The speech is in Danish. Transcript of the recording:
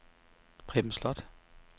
Preben Slot